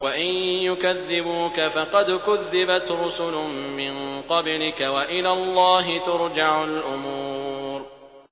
وَإِن يُكَذِّبُوكَ فَقَدْ كُذِّبَتْ رُسُلٌ مِّن قَبْلِكَ ۚ وَإِلَى اللَّهِ تُرْجَعُ الْأُمُورُ